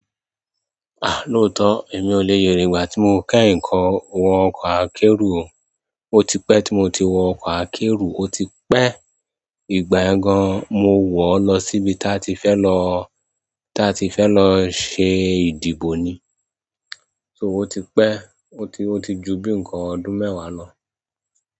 Lóòótọ́, èmi ò le yè rí ìgbà tí mo kẹ́yin wọ ọkọ̀ akẹ́rù o. O ti pẹ́ tí mo ti wọ ọkọ̀ akẹ́ro, o ti pẹ́. Ìgbà yẹn gan an mo wọ lọ sí ìbi tí a ti fẹ lọ ṣe idibo ni so o ti pẹ́, o ti, o ti ju bí nǹkan ọdún mẹ́wàá lọ.